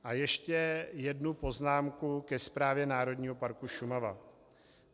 A ještě jednu poznámku ke Správě Národního parku Šumava.